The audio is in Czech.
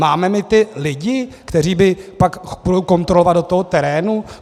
Máme my ty lidi, kteří by pak šli kontrolovat do toho terénu?